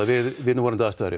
við núverandi aðstæður